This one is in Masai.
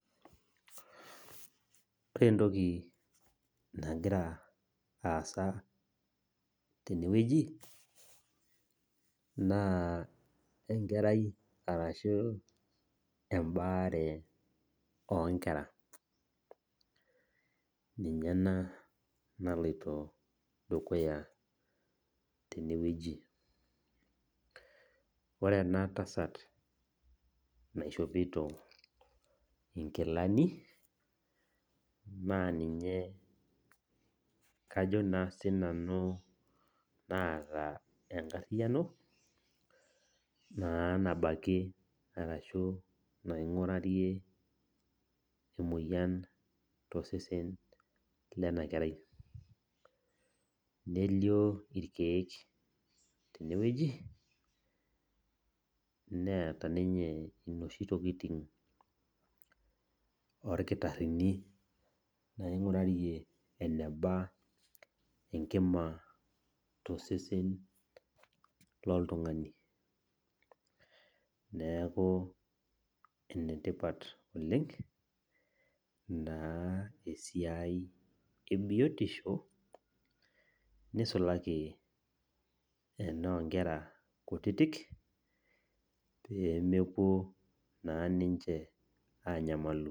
Ore entoki nagira aasa tenewueji naa enkerai arashu embaare onkera ninye ena naloito dukuya tenewueji. Ore enatasat naishopito inkilani naa ninye kajo naa sinanu naata enkariano naa nabakie arashu naingurarie emoyian tosesen lenakerai . Nelio irkiek tenewueji , neeta ninye inoshi tokitin orkitarini naingurarie eneba enkima tosesen loltungani , neeku enetipat oleng naa esiai ebiotisho nisulaki enoonkera kutitik pemepuo naa ninche anyamalu.